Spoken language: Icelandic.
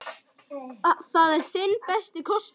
Það er þinn besti kostur.